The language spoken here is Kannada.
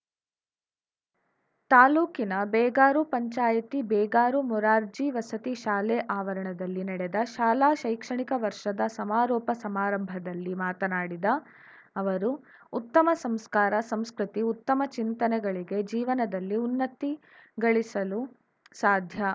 ತಾಲೂಕಿನ ಬೇಗಾರು ಪಂಚಾಯಿತಿ ಬೇಗಾರು ಮೊರಾರ್ಜಿ ವಸತಿ ಶಾಲೆ ಆವರಣದಲ್ಲಿ ನಡೆದ ಶಾಲಾ ಶೈಕ್ಷಣಿಕ ವರ್ಷದ ಸಮಾರೋಪ ಸಮಾರಂಭದಲ್ಲಿ ಮಾತನಾಡಿದ ಅವರು ಉತ್ತಮ ಸಂಸ್ಕಾರ ಸಂಸ್ಕೃತಿ ಉತ್ತಮ ಚಿಂತನೆಗಳಿಗೆ ಜೀವನದಲ್ಲಿ ಉನ್ನತಿ ಗಳಿಸಲು ಸಾಧ್ಯ